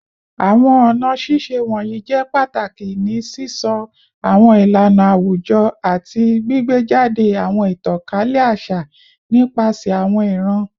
Awọn ọna ṣiṣe wọnyi jẹ pataki ni sisọ awọn ilana awujọ ati gbigbejade awọn itankalẹ aṣa nipasẹ awọn iran